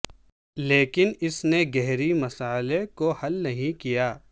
لیکن اس نے گہری مسئلہ کو حل نہیں کیا